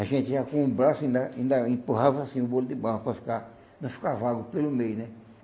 A gente já com o braço ainda ainda empurrava assim o bolo de bala para ficar não ficar vago pelo meio, né?